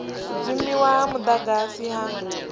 u dzimiwa ha mudagasi ha